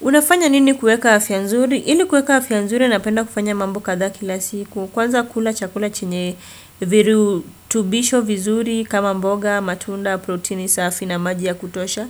Unafanya nini kueka afya nzuri? Ili kueka afya nzuri napenda kufanya mambo kadhaa kila siku. Kwanza kula chakula chenye viru tubisho vizuri kama mboga, matunda, proteini, safi na maji ya kutosha.